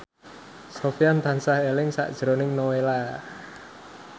Sofyan tansah eling sakjroning Nowela